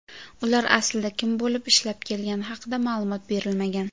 Ular aslida kim bo‘lib ishlab kelgani haqida ma’lumot berilmagan.